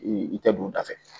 i tɛ don u da fɛ